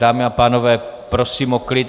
Dámy a pánové, prosím o klid.